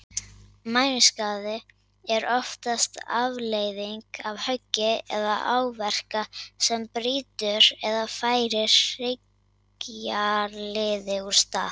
Mænuskaði er oftast afleiðing af höggi eða áverka sem brýtur eða færir hryggjarliði úr stað.